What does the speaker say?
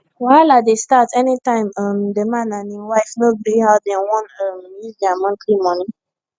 wahala dey start any time um the man and him wife no gree how dem wan um use their monthly money